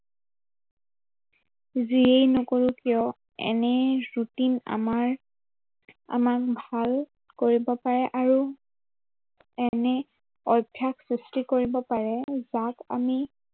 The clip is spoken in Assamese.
যিয়েই নকৰো কিয়, এনে routine আমাৰ, আমাক ভাল কৰিব পাৰে আৰু এনে অভ্য়াস সৃষ্টি পাৰে যাক আমি